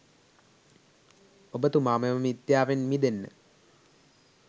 ඔබ්තුමා මෙම මිත්‍යාවෙන් මිදෙන්න